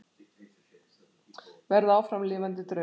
Verða áfram lifandi draugur.